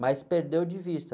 Mas perdeu de vista.